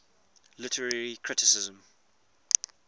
literary criticism